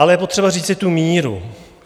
Ale je potřeba říct tu míru.